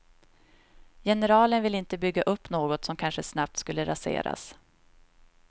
Generalen ville inte bygga upp något som kanske snabbt skulle raseras.